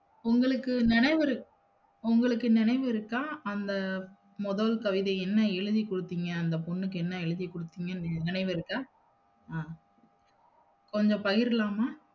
உங்களுக்கு நினைவு இருக், உங்களுக்கு நினைவு இருக்கா அந்த முதல் கவிதை என்ன எழுதிகுடுத்தீங்க அந்த பொண்ணுக்கு என்ன எழுதிக்குடுதீங்கன்னு நினைவு இருக்கா அஹ் கொஞ்சம் பகிரலாமா?